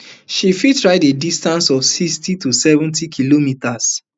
she fit ride a distance of sixty to seventy kilometres